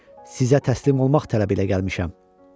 Sizə təslim olmaq tələbilə gəlmişəm.